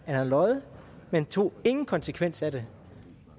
han havde løjet men tog ingen konsekvens af det